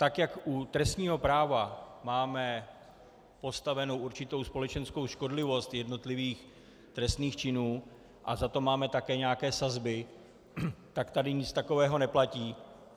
Tak jak u trestního práva máme postavenou určitou společenskou škodlivost jednotlivých trestných činů a za to máme také nějaké sazby, tak tady nic takového neplatí.